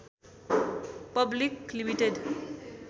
public limited